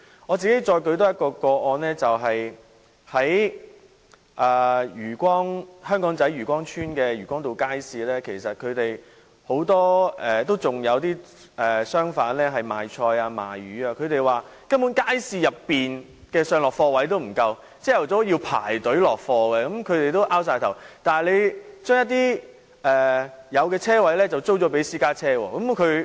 我再多舉一宗個案為例，就是在香港仔漁光邨的漁光道街市，其實仍有很多賣菜或賣魚的商販，他們說街市內的上落貨位不足，早上要排隊落貨，他們也很無奈，但政府卻將車位租給私家車車主。